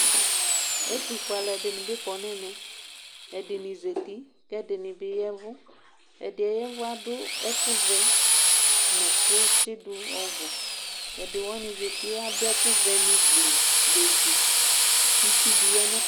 Ɛtʋfue alʋ ɛdini bi kɔnʋ ɛmɛ ɛdini zati kʋ ɛdini ya ɛvʋ ɛdiɛ ya ɛʋ adʋ ɛkʋvɛ nʋ ɛkʋ tsidʋ ɔbʋ ɛdiwani adʋ ɛkʋvɛ ni bezi gblu bezi kʋ itsʋ bi yanʋ atami ɛtʋ